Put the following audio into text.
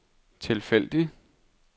tilfældig